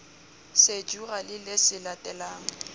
sejura le le se latelang